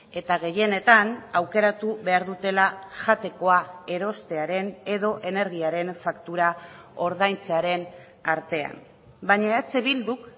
eta gehienetan aukeratu behar dutela jatekoa erostearen edo energiaren faktura ordaintzearen artean baina eh bilduk